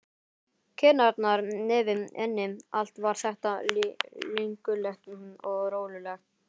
Kinnarnar, nefið, ennið, allt var þetta linkulegt og rolulegt.